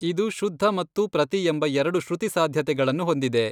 ಇದು ಶುದ್ಧ ಮತ್ತು ಪ್ರತಿ ಎಂಬ ಎರಡು ಶ್ರುತಿ ಸಾಧ್ಯತೆಗಳನ್ನು ಹೊಂದಿದೆ.